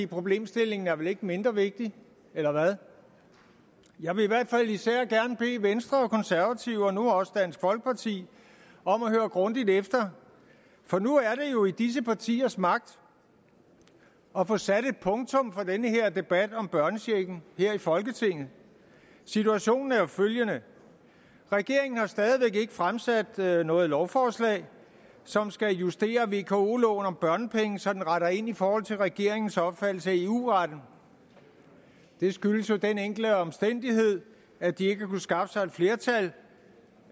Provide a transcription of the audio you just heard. problemstillingen er vel ikke blevet mindre vigtig eller hvad jeg vil i hvert fald især gerne bede venstre og konservative og nu også dansk folkeparti om at høre grundigt efter for nu er det jo i disse partiers magt at få sat et punktum for den her debat om børnechecken her i folketinget situationen er jo følgende regeringen har stadig væk ikke fremsat noget noget lovforslag som skal justere vko loven om børnepenge så den retter ind i forhold til regeringens opfattelse af eu retten det skyldes den enkle omstændighed at de ikke har kunnet skaffe sig et flertal